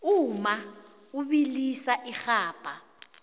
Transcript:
umma ubilisa irhabha